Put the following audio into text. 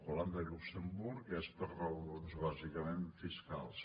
holanda i luxemburg és per raons bàsicament fiscals